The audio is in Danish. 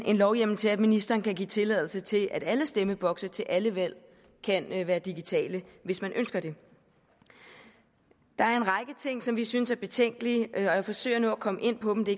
en lovhjemmel til at ministeren kan give tilladelse til at alle stemmebokse til alle valg kan være digitale hvis man ønsker det der er en række ting som vi synes er betænkelige og jeg forsøger nu at komme ind på dem det